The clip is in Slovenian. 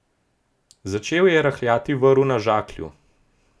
Začel je rahljati vrv na žaklju.